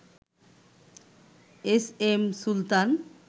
S M Sultan